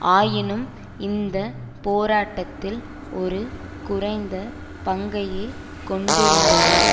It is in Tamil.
ஆயினும் இந்த போராட்டத்தில் ஒரு குறைந்த பங்கையே கொண்டிருந்தது